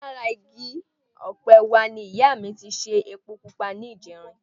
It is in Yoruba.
Lára igi ọ̀pẹ wa ni ìyá mi ti ṣe epo pupa ní ìjẹrin